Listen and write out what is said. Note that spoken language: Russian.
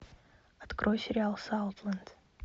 открой сериал саутленд